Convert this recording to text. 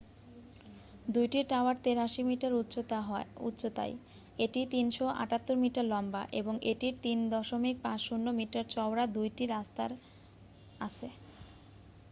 2 টি tower 83 metre উচ্চতা য় এটি 378 মিটার লম্বা এবং এটির 3.50 মিটার চওড়া 2টি রাস্তা আছে